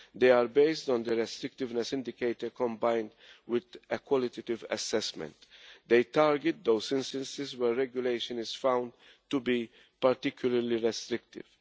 They are based on the restrictiveness indicator combined with a qualitative assessment. They target those instances where regulation is found to be particularly restrictive.